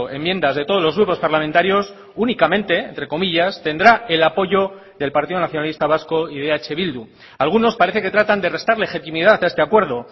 enmiendas de todos los grupos parlamentarios únicamente entre comillas tendrá el apoyo del partido nacionalista vasco y de eh bildu algunos parece que tratan de restar legitimidad a este acuerdo